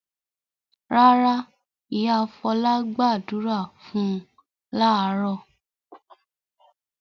Rárá, ìyá Fọlá gbàdúrà fún láàárọ̀.